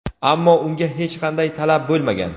ammo unga hech qanday talab bo‘lmagan.